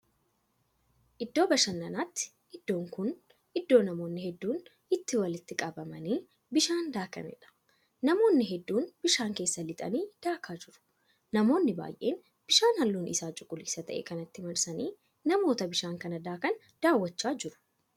Iddoo bashannanaati iddoon Kuni iddoo namoonni hedduun itti walitti qabamanii bishaan daakaniidha. namoonnii hedduun bishaan keessa lixanii daakaa jiru. namoonni baay'een bishaan halluun Isaa cuquliisa ta'e kanatti marsanii namoota bishaan kana daakan daaw'achaa jiru